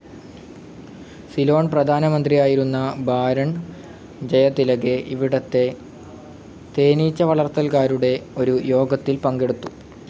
സിലോൺ പ്രധാനമന്ത്രിയായിരുന്ന ബാരോൺ ജയതിലകെ ഇവിടുത്തെ തേനീച്ച വളർത്തൽകാരുടെ ഒരു യോഗത്തിൽ പങ്കെടുത്തു.